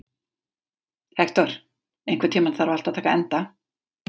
Hektor, einhvern tímann þarf allt að taka enda.